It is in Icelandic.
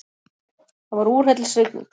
Það var úrhellisrigning.